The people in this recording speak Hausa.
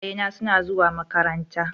Iyayena suna zuwa makaranta.